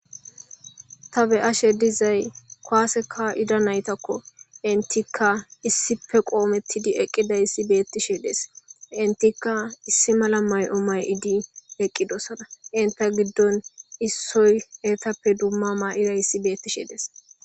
ta be7ashe dizay koaseka ida naytakko intikka issife qoomettidi eqqidayssi beettishe dees intikka issi mala may7o may7idi eqqidosana inta giddon issoy eetappe dumma maa7iday ssi beettishe dees